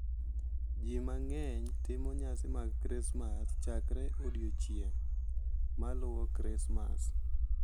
Ji mang’eny timo nyasi mag Krismas chakore e odiechieng’ maluwo Krismas.